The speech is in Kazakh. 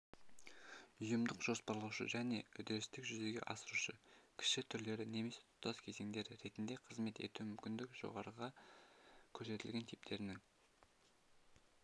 ұйымдық-жоспарлаушы және үдерістік жүзеге асырушы кіші түрлері немесе тұтас кезеңдері ретінде қызмет етуі мүмкін жоғарыда көрсетілген типтерінің